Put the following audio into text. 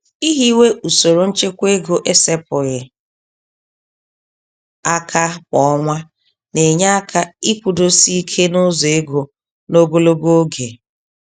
Ihiwe usoro nchekwaego esepụghị aka kwá ọnwa, na-enye aka ịkwụdosi ike nụzọ égo, n'ogologo oge.